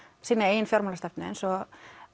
sína eigin fjármálastefnu eins og